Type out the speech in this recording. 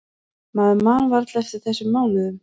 Maður man varla eftir þessum mánuðum.